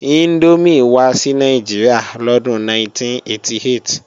Índómì wá sí Nàìjíríà lọ́dún 1988